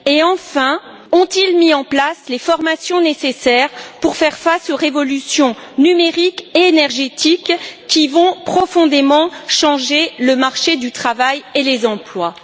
Enfin, ont ils mis en place les formations nécessaires pour faire face aux révolutions numériques et énergétiques qui vont profondément changer le marché du travail et les emplois?